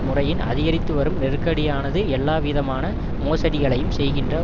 முறையின் அதிகரித்துவரும் நெருக்கடியானது எல்லாவிதமான மோசடிகளையும் செய்கின்ற